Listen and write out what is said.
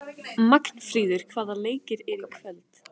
Magnfríður, hvaða leikir eru í kvöld?